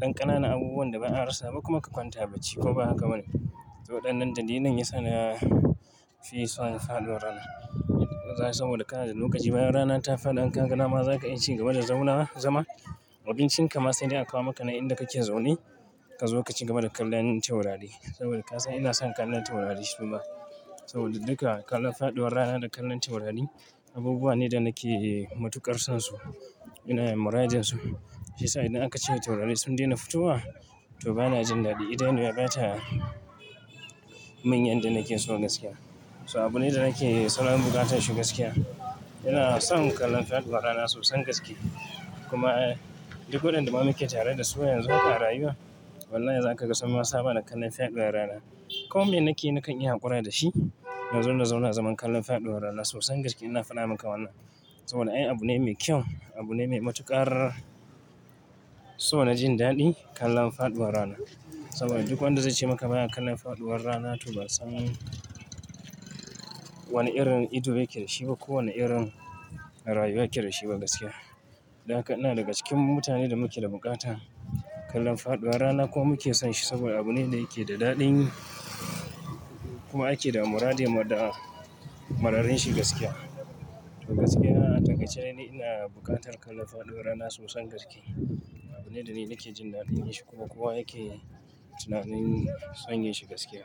ɗan ƙanana abubuwan da ba a rassa ba kuma ka ka kwanta bacci, ko ba haka ba ne? To waɗannan dalilan yasa na fi son faɗuwar rana. Zaha ga saboda kana da lokaci bayan rana ta faɗi, in ka ga nama za ka iya ci gaba da zaunawa zama. Abincin ka ma sai dai a kawo maka nan inda kake zaune, ka zo ka cigaba da kallon taurari saboda ka san ina son kallon taurari suma. Saboda duka kallon faɗuwar rana da kallon taurari abubuwa ne da nake matuƙar son su. Ina muradin su. Shiyasa idan aka ce taurari sun daina fitowa, to bana jin daɗi. Idaniya bata mun yanda nake so gaskiya. So abu ne da nake son buƙatar shi gaskiya. Ina son kallon faɗuwar rana sosan gaske kuma duk wandanda ma muke tare da su yanzu aka rayuwa, wallahi za kaga sun ma saba da kallon faɗuwar rana. Ko me nake na kan iya haƙura da shi, nazo na zauna zaman kallon faɗuwar rana sosan gaske ina faɗa maka wannan. Saboda ai abu ne mai kyau, abu ne mai matuƙar so na jin daɗi, kallon faɗuwar rana. Saboda duk wanda zai ce maka ba ya kallon faɗuwar rana to ba san wani irin ido yake da shi ba ko wani irin rayuwa yake da shi ba gaskiya. Don haka ina daga cikin mutane da muke da buƙata kallon faɗuwar rana kuma muke son shi saboda abu ne da yake da daɗin yi kuma ake da muradin mu da mararanshi gaskiya. To gaskiya na a takaice ni ina buƙatar kallon faɗuwar rana sosan gaske. Abu ne da ni nake jin daɗin yinshi kuma kowa yake tunanin son yinshi gaskiya.